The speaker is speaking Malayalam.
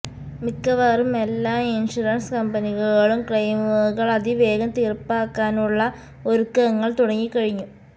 മിക്കവാറും എല്ലാ ഇൻഷുറൻസ് കമ്പനികളും ക്ലെയിമുകൾ അതിവേഗം തീർപ്പാക്കാനുള്ള ഒരുക്കങ്ങൾ തുടങ്ങിക്കഴിഞ്ഞു